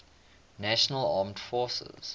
national armed forces